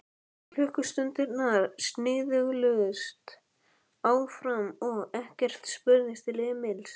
En klukkustundirnar snigluðust áfram og ekkert spurðist til Emils.